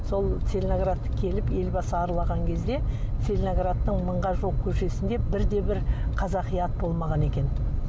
сол целиноградты келіп елбасы аралаған кезде целиноградтың мыңға жуық көшесінде бірде бір қазақи ат болмаған екен